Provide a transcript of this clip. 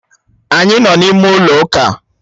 Anyị nọ n'ime ụlọ ụka.